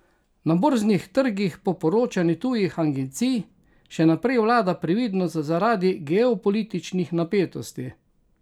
Na borznih trgih po poročanju tujih agencij še naprej vlada previdnost zaradi geopolitičnih napetosti.